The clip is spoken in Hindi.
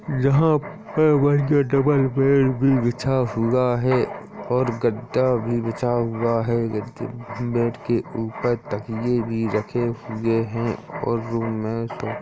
यहाँ पे बढ़िया डबल बेड भी बिछा हुआ है और गद्दा भी बिछा हुआ। बेड के ऊपर तकिए भी रखे हुए है और रूम में --